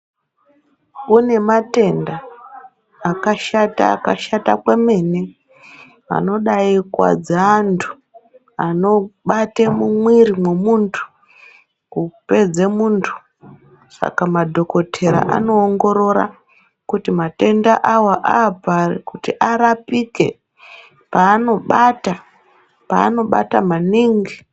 Kune matenda akashata akashata kwemene vantu anobaikuwadzaantu anobate mumwiri mwemuntu kupedze muntu saka madhokotera anoongorora kuti matenda awa aapari kuti arapike paanobata paanobata maningi.